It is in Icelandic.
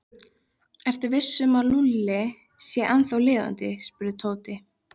Ertu viss um að Lúlli sé ennþá lifandi? spurði Tóti.